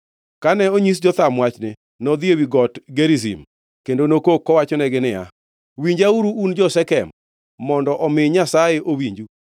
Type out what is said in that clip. Kane onyis Jotham wachni, nodhi ewi Got Gerizim kendo nokok kowachonegi niya, “Winjauru, un jo-Shekem, mondo omi Nyasaye owinju.